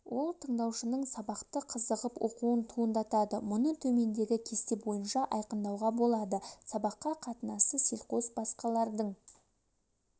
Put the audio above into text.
ол тыңдаушының сабақты қызығып оқуын туындатады мұны төмендегі кесте бойынша айқындауға болады сабаққа қатынасы селқос басқалардың